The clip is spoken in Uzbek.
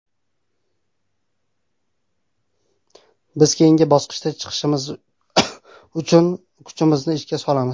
Biz keyingi bosqichga chiqish uchun bor kuchimizni ishga solamiz.